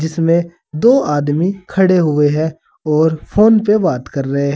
इसमें दो आदमी खड़े हुए हैं और फोन पे बात कर रहे--